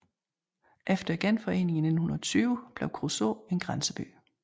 Efter Genforeningen i 1920 blev Kruså en grænseby